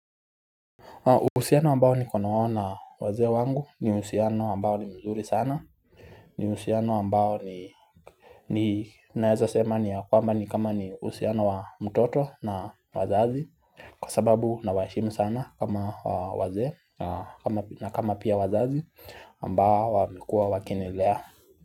Uhusiano ambao niko nao na wazee wangu ni uhusiano ambao ni mzuri sana ni uhusiano ambao ninaeza sema ni ya kwamba ni kama ni uhusiano wa mtoto na wazazi Kwa sababu nawaheshimu sana kama wazee na kama pia wazazi ambao wamekua wakinilea.